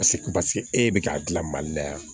Paseke paseke e bɛ k'a dilan mali la yan